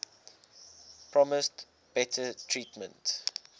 promised better treatment